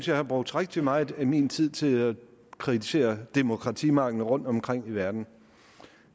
jeg har brugt rigtig meget af min tid til at kritisere demokratimangel rundtomkring i verden